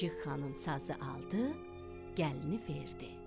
Çik-çik xanım sazı aldı, gəlini verdi.